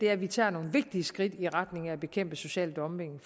er at vi tager nogle vigtige skridt i retning af at bekæmpe social dumping